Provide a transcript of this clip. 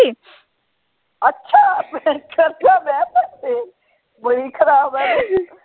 ਅੱਛਾ ਬੜੀ ਖਰਾਬ ਹੈ ਤੂੰ।